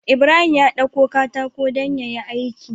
Ibrahim ya ɗauko katako dan yayi aiki